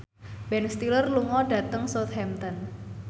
Ben Stiller lunga dhateng Southampton